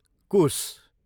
कुस